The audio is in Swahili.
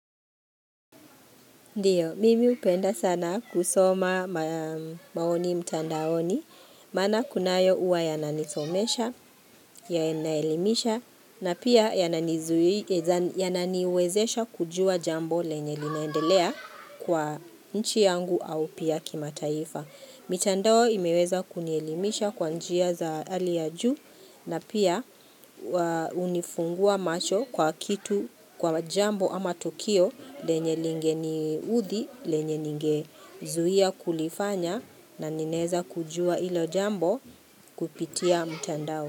Ndiyo, mimi hupenda sana kusoma maoni mtandaoni, maana kunayo huwa yananisomesha, yanaelimisha, na pia yana yananiwezesha kujua jambo lenye linaendelea kwa nchi yangu au pia kimataifa. Mitandao imeweza kunielimisha kwa njia za hali ya juu na pia unifungua macho kwa kitu kwa jambo ama tukio lenye lingeni udhi lenye ningezuia kulifanya na ninaeza kujua hilo jambo kupitia mitandao.